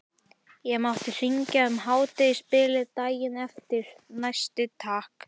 Ég mátti hringja um hádegisbilið daginn eftir, næsti takk!